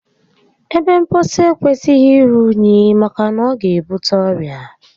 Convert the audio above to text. Ebe mposi ekwesịghị iru únyí maka na ọ ga ebute ọrịa